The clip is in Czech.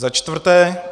Za čtvrté.